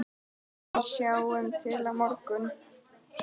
En sjáum til á morgun!